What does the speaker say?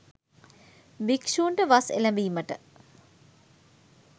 භික්ෂූන්ට වස් එළැඹීමට